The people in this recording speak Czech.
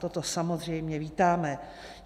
Toto samozřejmě vítáme.